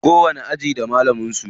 Kowanni aji da malaman su.